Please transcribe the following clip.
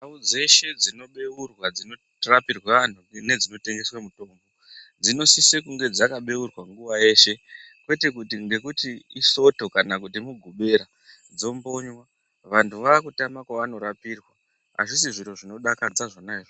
Ndau dzeshe dzinobeurwa dzinorapirwa antu nedzinotengeswe mutombo dzinosise kunge dzakabeurwa nguva yeshe. Kwete kuti ngekuti isoto kana kuti mugobera dzombonywa. Vantu vakutama kwavanorapirwa hazvisi zviro zvinodakadza zvona izvozvo.